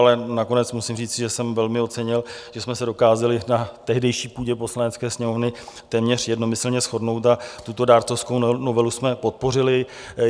Ale nakonec musím říci, že jsem velmi ocenil, že jsme se dokázali na tehdejší půdě Poslanecké sněmovny téměř jednomyslně shodnout a tuto dárcovskou novelu jsme podpořili.